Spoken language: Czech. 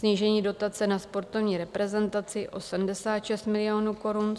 Snížení dotace na sportovní reprezentaci o 76 milionů korun.